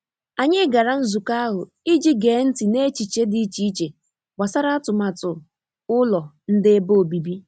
Anyị gara nzukọ ahụ i ji gee ntị n’echiche dị iche iche gbasara atụmatụ ulọ nde ebe obibi.